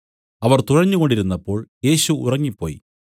അവർ തുഴഞ്ഞുകൊണ്ടിരുന്നപ്പോൾ യേശു ഉറങ്ങിപ്പോയി